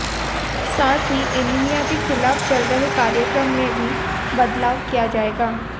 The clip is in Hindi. साथ ही एनिमिया के खिलाफ चल रहे कार्यक्रम में भी बदलाव किया जाएगा